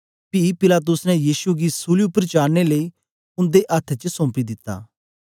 पी पिलातुस ने यीशु गी सूली उपर चाड़नें लेई उन्दे अथ्थ च सौंपी दिता